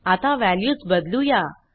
आता वॅल्यूस बदलुया